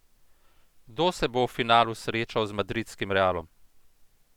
Kdo se bo v finalu srečal z madridskim Realom?